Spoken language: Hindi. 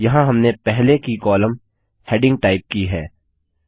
यहाँ हमने पहले की कॉलम हेडिंग टाइप की है